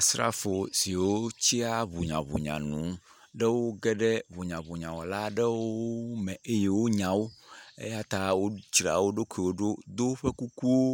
Asrafo siwo tsia hunyahunya nu, woge ɖe hunyahunyawɔla aɖewo ŋu me eye wonyã wo eyata wodzra woɖokuiwo ɖo do woƒe kukuwo,